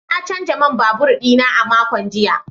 Na canza man babur dina a makon jiya.